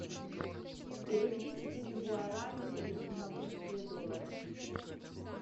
переведи четыре гуарани в сингапурские доллары